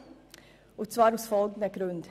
Sie tut dies aus folgenden Gründen: